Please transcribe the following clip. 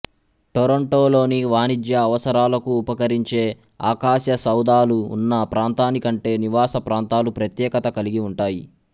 Toronto లోని వాణిజ్య అవసరాలకు ఉపకరించే ఆకాశసౌధాలు ఉన్న ప్రాంతానికంటే నివాస ప్రాంతాలు ప్రత్యేకత కలిగి ఉంటాయి